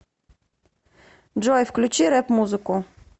джой включи рэп музыку